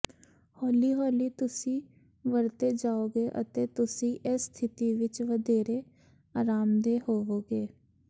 ਹੌਲੀ ਹੌਲੀ ਤੁਸੀਂ ਵਰਤੇ ਜਾਓਗੇ ਅਤੇ ਤੁਸੀਂ ਇਸ ਸਥਿਤੀ ਵਿਚ ਵਧੇਰੇ ਆਰਾਮਦੇਹ ਹੋਵੋਗੇ